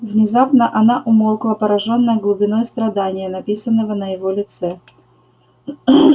внезапно она умолкла поражённая глубиной страдания написанного на его лице